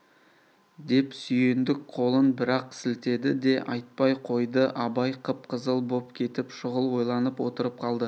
деп сүйіндік қолын бір-ақ сілтеді де айтпай қойды абай қып-қызыл боп кетіп шұғыл ойланып отырып қалды